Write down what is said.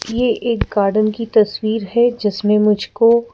यह एक गार्डन की तस्वीर है जिसमें मुझको--